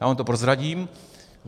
Já vám to prozradím.